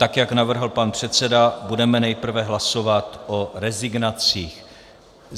Tak jak navrhl pan předseda, budeme nejprve hlasovat o rezignacích.